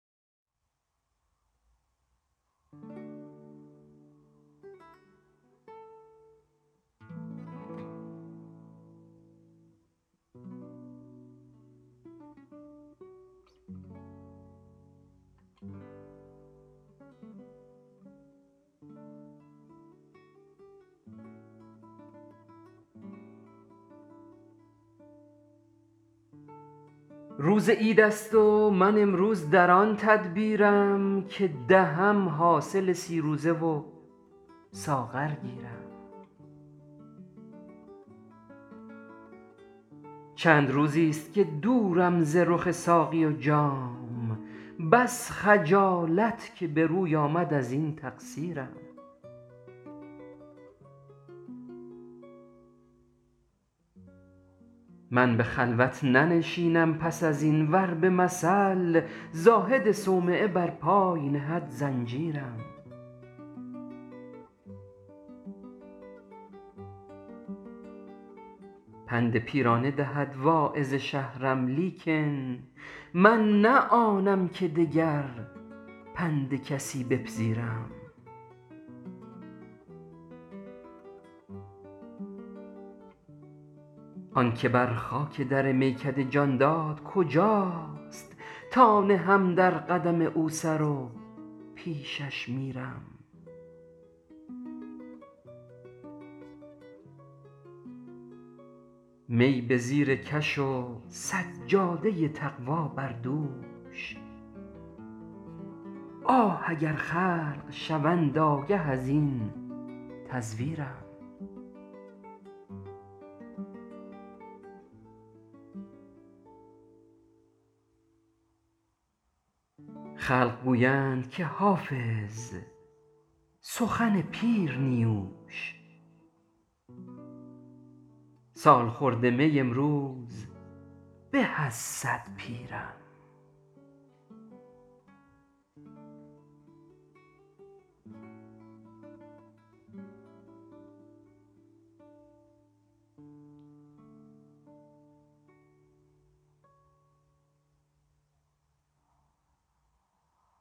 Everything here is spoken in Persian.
روز عید است و من امروز در آن تدبیرم که دهم حاصل سی روزه و ساغر گیرم چند روزیست که دورم ز رخ ساقی و جام بس خجالت که به روی آمد ازین تقصیرم من به خلوت ننشینم پس از این ور به مثل زاهد صومعه بر پای نهد زنجیرم پند پیرانه دهد واعظ شهرم لیکن من نه آنم که دگر پند کسی بپذیرم آن که بر خاک در میکده جان داد کجاست تا نهم در قدم او سر و پیشش میرم می به زیر کش و سجاده تقوی بر دوش آه اگر خلق شوند آگه از این تزویرم خلق گویند که حافظ سخن پیر نیوش سالخورده میی امروز به از صد پیرم